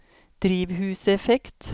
drivhuseffekt